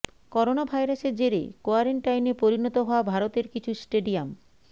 corona ভাইরাসের জেরে কোয়ারেন্টাইনে পরিণত হওয়া ভারতের কিছু স্টেডিয়াম